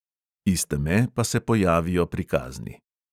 Iz teme pa se pojavijo prikazni.